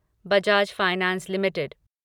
Bajaj finance limited